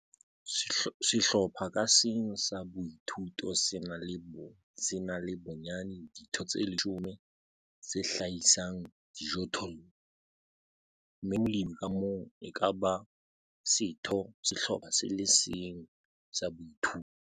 Sehlopha ka seng sa boithuto se na le bonyane ditho tse leshome tse hlahisang dijothollo, mme molemi ka mong e ka ba setho sa sehlopha se le seng sa boithuto.